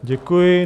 Děkuji.